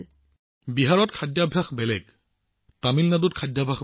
প্ৰধানমন্ত্ৰীঃ বিহাৰত খাদ্যাভ্যাস তামিলনাডুৰ পৰা পৃথক